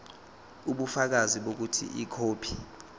ubufakazi bokuthi ikhophi